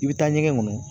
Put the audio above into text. I bɛ taa ɲɛgɛn kɔnɔ